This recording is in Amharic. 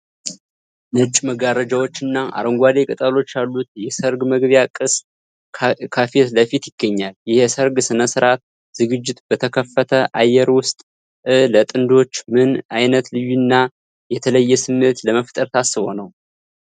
ነጭ መጋረጃዎችና አረንጓዴ ቅጠሎች ያሉት የሠርግ መግቢያ ቅስት ከፊት ለፊት ይገኛል። ይህ የሠርግ ሥነ ሥርዓት ዝግጅት በተከፈተ አየር ውስጥ እ፣ ለጥንዶቹ ምን አይነት ልዩና የተለየ ስሜት ለመፍጠር ታስቦ ነው?